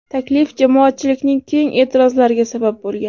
Taklif jamoatchilikning keng e’tirozlariga sabab bo‘lgan.